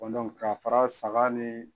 k'a fara saga ni